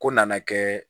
Ko nana kɛ